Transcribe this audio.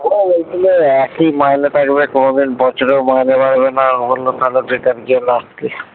ও বলছিলো একই মাইনে থাকবে কোনোদিন বছরেও মাইনে বাড়বে না ও বললো তাহলে বেকার গিয়ে লাভ কি